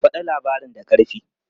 Faɗa labarin da ƙarfi!